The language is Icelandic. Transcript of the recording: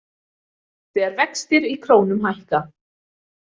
Þegar vextir í krónum hækka.